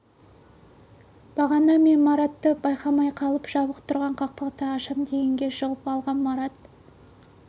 бағана мен маратты байқамай қалып жабық тұрған қақпақты ашам дегенде жығып алғам марат